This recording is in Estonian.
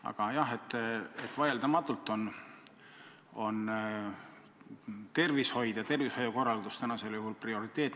Aga jah, vaieldamatult on tervishoid ja tervishoiukorraldus tänasel päeval prioriteet.